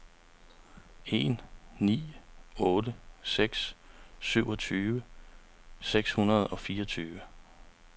en ni otte seks syvogtyve seks hundrede og fireogtyve